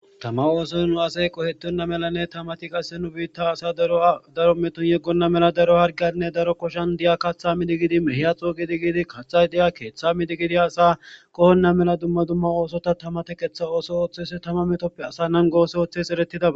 Thama ooson nu asay qoheththenna melanne qassi thamathi nu biiththaa daruwaa doro methon yeggenna mela daro harggiyaninne daro koshan mehiya coo giidi giidi kaththay diya keeththaa miidi diya asaa qohenna mela dumma dumma oosotha thama theqeththa ooso ooththise thama methoppe asa nanggo ooso ooththeesi ereththidaba